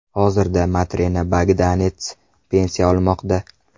Hozirda Matrena Bogdanets pensiya olmoqda.